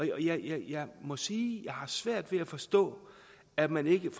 jeg må sige at jeg har svært ved at forstå at man ikke kan